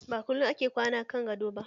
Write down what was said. Ba kullum ake kwana kan gado ba